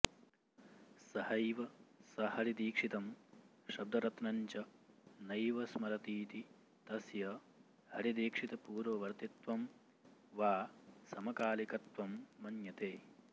सहैव स हरिदीक्षितं शब्दरत्नञ्च नैव स्मरतीति तस्य हरिदीक्षितपूर्ववर्तित्वं वा समकालिकत्वं मन्यते